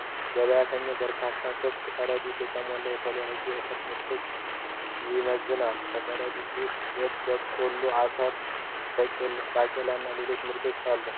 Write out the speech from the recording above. ገበያተኛው በበርካታ ክፍት ከረጢቶች የተሞላውን የተለያዩ የእህል ምርቶችን ይመዝናል። በከረጢቶቹ ውስጥ ጤፍ፣ በቆሎ፣ አኩሪ አተር፣ ባቄላ እና ሌሎችም ምርቶች አሉ።